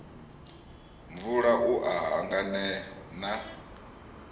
mvula u a hanganea na